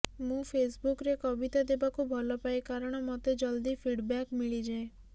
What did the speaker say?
ମୁଁ ଫେସ୍ବୁକ୍ରେ କବିତା ଦେବାକୁ ଭଲପାଏ କାରଣ ମୋତେ ଜଲଦି ଫିଡ଼୍ବ୍ୟାକ୍ ମିଳିଯାଏ